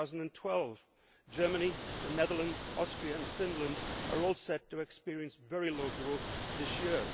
2012. Germany, the Netherlands, Austria and Finland are all set to experience very low growth this year.